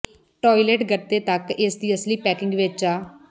toilet ਗੱਤੇ ਤੱਕ ਇਸ ਦੀ ਅਸਲੀ ਪੈਕਿੰਗ ਵਿੱਚ ਆ